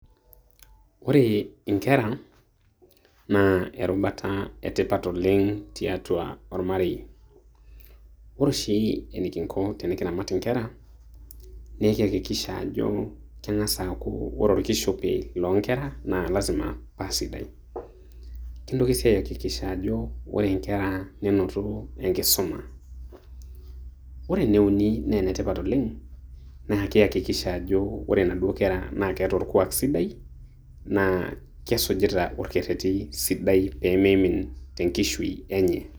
Ore inkera, naa erubata e tipat oleng tiatua olmarei. Ore oshi enekingo tene kiramat inkera, nekiakikisha ajo ore olkishopi loonkera na lazima paa sidai, kintoki sii aakikisha ajo ore inkera neinoto enkisomo, ore eneuni naa enetipat oleng, naa kiakikisha ajo ore naduo kera naa keeta olkuak sidai, naa kesujita olkereti sidai pee meimin te nkishui enye.